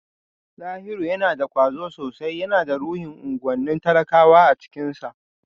Dahiru yana da kwazo sosai, yana da ruhin unguwannin talakawa a cikinsa